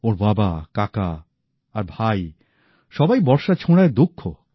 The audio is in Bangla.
ওঁর বাবা কাকা আর ভাই সবাই বর্শা ছোঁড়ায় দক্ষ